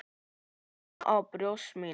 Góna á brjóst mín.